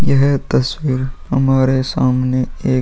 यह तस्वीर हमारे सामने एक --